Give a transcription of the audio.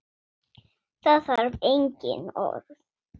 Það þarf engin orð.